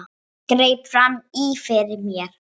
Greip fram í fyrir mér.